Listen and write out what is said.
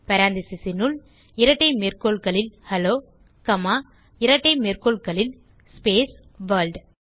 parenthesesனுள் இரட்டை மேற்கோள்களில் hello comma இரட்டை மேற்கோள்களில் ஸ்பேஸ் வர்ல்ட்